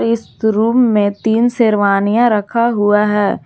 इस रूम में तीन शेरवानियां रखा हुआ है।